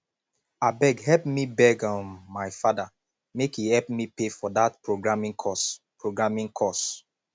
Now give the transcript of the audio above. abeg help me beg um my father make he help me pay for dat programing course programing course